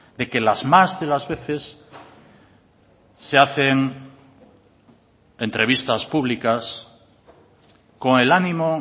de que las más de las veces se hacen entrevistas públicas con el ánimo